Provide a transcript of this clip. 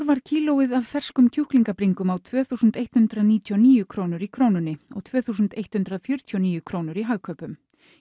var kílóið á ferskum kjúklingabringum á tvö þúsund eitt hundrað níutíu og níu krónur í Krónunni og tvö þúsund og eitt hundrað fjörutíu og níu krónur í Hagkaupum